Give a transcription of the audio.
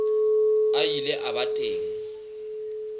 a ile a ba teng